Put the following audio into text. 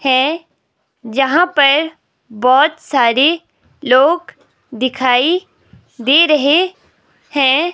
है जहां पर बहुत सारे लोग दिखाई दे रहे हैं।